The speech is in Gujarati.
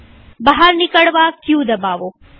બહાર નિકળવા ક દબાવો